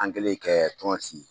An kelen kɛ la tɔn sigi